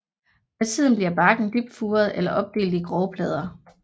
Med tiden bliver barken dybt furet eller opdelt i grove plader